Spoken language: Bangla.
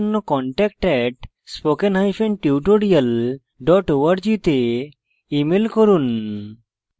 বিস্তারিত তথ্যের জন্য contact @spokentutorial org তে ইমেল করুন